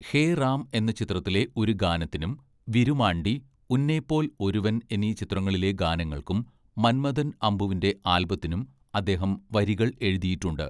ഹേ റാം' എന്ന ചിത്രത്തിലെ ഒരു ഗാനത്തിനും, വിരുമാണ്ടി, ഉന്നൈപോൽ ഒരുവൻ എന്നീ ചിത്രങ്ങളിലെ ഗാനങ്ങൾക്കും മൻമഥൻ അമ്പുവിൻ്റെ ആൽബത്തിനും അദ്ദേഹം വരികൾ എഴുതിയിട്ടുണ്ട്.